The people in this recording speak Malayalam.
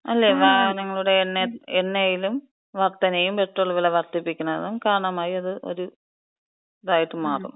വാഹനങ്ങളുടെ എണ്ണയിലും വർധനയും പെട്രോൾ വെല വർധിപ്പിക്കണതും കാരണമായി അത് ഒരിതായിട്ട് മാറും.